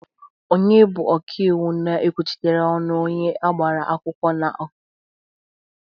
Onye bụ oka iwu na-ekwuchite ọnụ onye agbara akwụkwọ n'okwu a.?